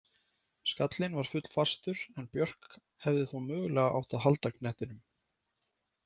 Skallinn var full fastur en Björk hefði þó mögulega átt að halda knettinum.